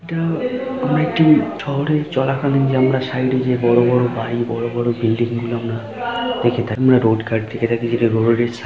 এটা আমরা একটি শহরে চলাকালীন যে আমরা সাইডে যে বড় বড় বাড়ি বড় বড় বিল্ডিং গুলো আমরা দেখে থাকি আমরা রোড কার দেখে থাকি যেটা রোডের সাই --